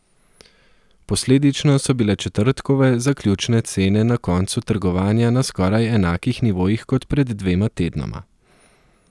Posledično so bile četrtkove zaključne cene na koncu trgovanja na skoraj enakih nivojih kot pred dvema tednoma.